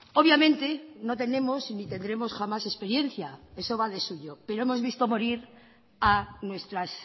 obviamente no tenemos ni tendremos jamás experiencia eso va de suyo pero hemos visto morir a nuestras